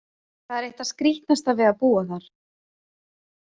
Það er eitt það skrítnasta við að búa þar.